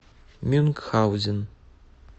мюнхгаузен